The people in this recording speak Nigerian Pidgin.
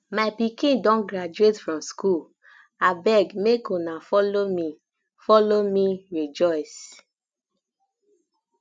my pikin don graduate from school um abeg make una follow um me follow um me rejoice